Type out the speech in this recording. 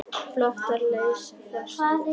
Flotar leysa festar.